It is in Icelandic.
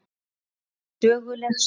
Þetta er söguleg stund.